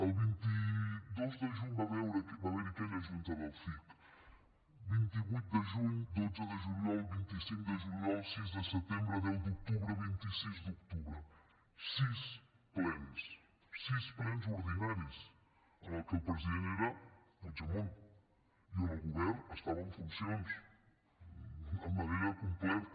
el vint dos de juny va haver hi aquella junta del cic vint vuit de juny dotze de juliol vint cinc de juliol sis de setembre deu d’octubre vint sis d’octubre sis plens sis plens ordinaris en què el president era puigdemont i on el govern estava en funcions de manera completa